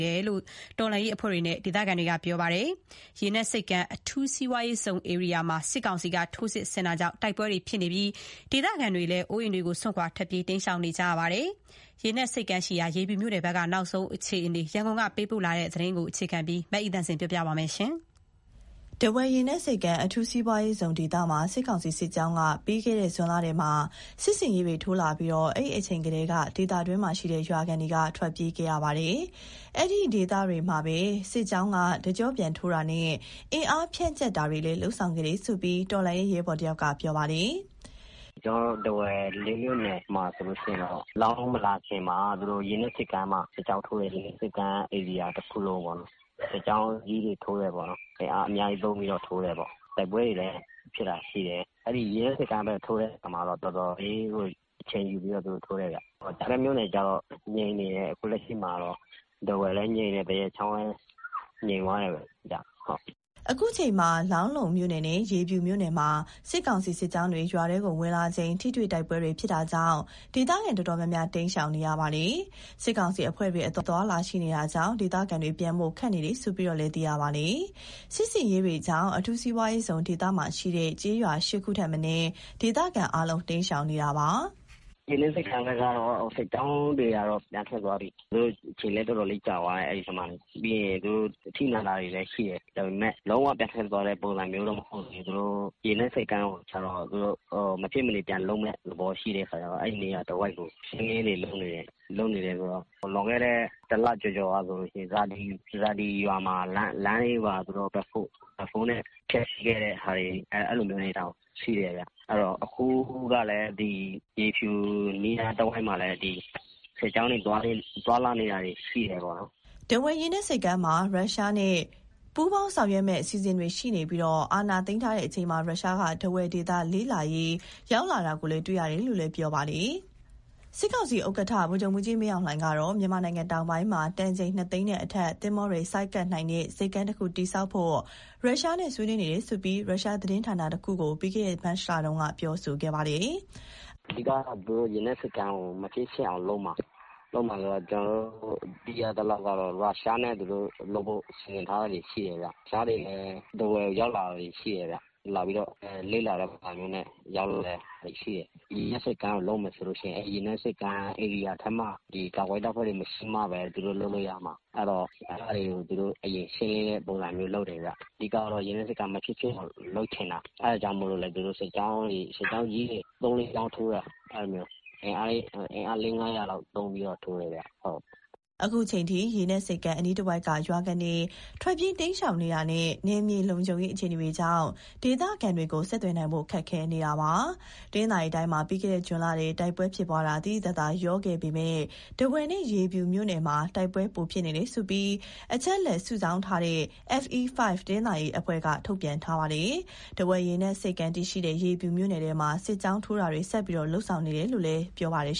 တယ်လို့ တော်လှန်ရေးအဖွဲ့တွေနဲ့ ဒေသခံတွေက ပြောပါတယ်။ ဒီအကြောင်း ရန်ကုန်က သတင်းပေးပို့ချက်ကို အခြေခံပြီး မအိသန့်စင်က တင်ပြပေးပါမယ်။ ထားဝယ်ရေနက်ဆိပ်ကမ်း အထူးစီးပွားရေးဇုန်ဒေသမှာ စစ်ကောင်စီ စစ်ကြောင်းဟာ ပြီးခဲ့တဲ့ ဇွန်လထဲမှာ စစ်ဆင်ရေးထိုးလာပြီး၊ အဲဒီအချိန်ကတည်းက ဒေသတွင်းမှာရှိတဲ့ ရွာခံတွေ ထွက်ပြေးခဲ့ကြရတာပါ။ အဲဒီဒေသမှာပဲ စစ်ကြောင်းက တကျော့ပြန်ထိုးတာနဲ့ အင်အားဖြန့်ကျက်တာတွေလည်း လုပ်ဆောင်ခဲ့တယ်လို့ တော်လှန်ရေးရဲဘော်တဦးက ပြောပါတယ်။ "ကျနော်တို့ထားဝယ် ၄မြို့နယ်မှာဆိုရင်တော့ လောင်းလုံးမလာခင်မှာ သူတို့ရေနက်ဆိပ်ကမ်းမှာ စစ်ကြောင်းထိုးတယ်။ ရေနက်ဆိပ်ကမ်း ဧရိယာတခုလုံးပေါ့။ အင်အားအများကြီးသုံးပြီးတော့ စစ်ကြောင်းကြီးတွေထိုးတယ်။ တိုက်ပွဲတွေလည်း ဖြစ်တာရှိတယ်။ အဲဒီရေနက်ဆိပ်ကမ်းဘက် ထိုးတဲ့အခါမှာတော့ တော်တော်လေးကို အချိန်ယူပြီးတော့ သူတို့ထိုးတယ်ဗျ။ ကျန်တဲ့မြို့နယ်တွေကျတော့ အခုလက်ရှိငြိမ်နေတယ်။ ထားဝယ်လည်းငြိမ်တယ်။ သရက်ချောင်းလည်း ငြိမ်သွားတယ်ဗျ။" အခုအချိန်မှာ လောင်းလုံးမြို့နယ်နဲ့ ရေဖြူမြို့နယ်မှာ စစ်ကောင်စီစစ်ကြောင်းတွေ ရွာထဲဝင်လာချိန် ထိတွေ့တိုက်ပွဲတွေ ဖြစ်တာကြောင့် ဒေသခံတော်တော်များများလည်း ရှောင်တိမ်းနေကြပါတယ်။ စစ်ကောင်စီအဖွဲ့တွေ အသွားအလာရှိနေတာကြောင့် ဒေသခံတွေ ပြန်ဖို့ခက်နေတယ်လို့ သိရပါတယ်။ စစ်ဆင်ရေးတွေကြောင့် အထူးစီးပွားရေးဇုန် ဒေသမှာရှိတဲ့ ကျေးရွာ ၈ ရွာထက်မနည်း ဒေသခံအားလုံး တိမ်းရှောင်နေကြတာပါ။ "ရေနက်ဆိပ်ကမ်းဘက်က စစ်ကြောင်းတွေကတော့ ပြန်ထွက်သွားပြီ။ အဲဒီထဲမှာ သူတို့အချိန်လည်း တော်တော်လေးကြာသွားတယ်။ သူတို့ အထိနာတာတွေလည်းရှိတယ်။ ဒါပေမဲ့ လုံးဝပြန်ထွက်သွားတဲ့ ပုံစံမျိုးတော့မဟုတ်သေးဘူး။ ရေနက်ဆိပ်ကမ်းကိုကျတော့ သူတို့ မဖြစ်မနေ ပြန်လုပ်မယ့်သဘော ရှိတဲ့အခါကျတော့ အဲဒီနေရာတဝိုက်ကို ရှင်းလင်းရေးတွေလုပ်နေတယ်။ လွန်ခဲ့တဲ့ ၁လကျော်ကဆိုရင် ဇာဒီ ရွာမှာဆိုရင် လမ်းပိုင်းတွေကို သူတို့ဘက်ဖိုး (Backhoe) နဲ့ ဖျက်ဆီးခဲ့တဲ့ဟာတွေတောင် ရှိတယ်ဗျ။ အဲဒီတော့ အခုကလည်း ရေဖြူအနီးအနားတဝိုက်မှာ စစ်ကြောင်းတွေ သွားလာနေတာရှိတယ်။" ထားဝယ်ရေနက်ဆိပ်ကမ်းမှာ ရုရှားနဲ့ ပူးပေါင်းဆောင်ရွက်မယ့် အစီအစဉ်တွေရှိနေပြီး၊ အာဏာသိမ်းထားတဲ့ချိန်မှာ ရုရှားက ထားဝယ်ဒေသလေ့လာရေး ရောက်လာတာတွေကိုလည်း တွေ့ရတယ်လို့ ပြောပါတယ်။ စစ်ကောင်စီဥက္ကဋ္ဌ ဗိုလ်ချုပ်မှူးကြီး မင်းအောင်လှိုင်ကတော့ မြန်မာနိုင်ငံတောင်ပိုင်းမှာ တန်ချိန်နှစ်သိန်းနဲ့အထက် သင်္ဘောတွေဆိုက်ကပ်နိုင်တဲ့ ဆိပ်ကမ်းတခုတည်ဆောက်ဖို့ ရုရှားနဲ့ ဆွေးနွေးနေတယ်လို့ ရုရှားသတင်းဌာနတခုကို ပြီးခဲ့တဲ့ မတ်လတုန်းက ပြောထားပါတယ်။ "အဓိကတော့ သူတို့ရေနက်ဆိပ်ကမ်းကို မဖြစ်ဖြစ်အောင်လုပ်မှာ။ ကျနော်တို့သိရသလောက် ရုရှားနဲ့လုပ်ဖို့ သူတို့စီစဉ်ထားတာတွေ ရှိတယ်ဗျ။ ရုရှားတွေလည်း ထားဝယ်ရောက်လာတာရှိတယ်။ လေ့လာတဲ့ပုံစံမျိုးနဲ့ ရောက်လာတာတွေရှိတယ်။ ရေနက်ဆိပ်ကမ်းကို လုပ်မယ်ဆိုရင် ဒီဧရိယာထဲမှာ ကာကွယ်ရေးတပ်ဖွဲ့တွေ မရှိမှဘဲ သူတို့လုပ်လို့ရမှာ။ အဲတော့ အဲဒါတွေကို အရင်ရှင်းလင်းတဲ့ ပုံစံမျိုးလုပ်တယ်ဗျ။ အဓိကတော့ ရေနက်ဆိပ်ကမ်း မဖြစ်ဖြစ်အောင်လုပ်ချင်တာ။ အဲဒါကြောင့်လည်း သူတို့စစ်ကြောင်းကြီးတွေ ၃၊ ၄ကြောင်းထိုးတာ။ အင်အား ၄၀၀၊ ၅၀၀ လောက်သုံးပြီးတော့ ထိုးတယ်ဗျ။" အခုချိန်ထိ ရေနက်ဆိပ်ကမ်း အနီးတဝိုက်က ရွာခံတွေ ထွက်ပြေးတိမ်းရှောင်နေတာနဲ့ နယ်မြေလုံခြုံရေး အခြေအနေကြောင့် ဒေသခံတွေကို ဆက်သွယ်နိုင်ဖို့ ခက်ခဲနေပါတယ်။ တနင်္သာရီတိုင်းမှာ ပြီးခဲ့တဲ့ ဇွန်လထဲ တိုက်ပွဲဖြစ်ပွားတာ သိသိသာသာ လျော့ခဲ့ပေမယ့် ထားဝယ်နဲ့ ရေဖြူမြို့နယ်မှာ တိုက်ပွဲပိုဖြစ်နေတယ်လို့ အချက်အလက် စုဆောင်းထားတဲ့ FE5 တနင်္သာရီအဖွဲ့က ထုတ်ပြန်ထားပါတယ်။ ထားဝယ် ရေနက်ဆိပ်ကမ်းတည်ရှိတဲ့ ရေဖြူမြို့နယ်ထဲမှာ စစ်ကြောင်းထိုးတာတွေ ဆက်တိုက်လုပ်ဆောင်နေတယ်လို့လည်း ဆိုပါတယ်